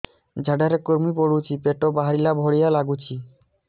ଝାଡା ରେ କୁର୍ମି ପଡୁଛି ପେଟ ବାହାରିଲା ଭଳିଆ ଲାଗୁଚି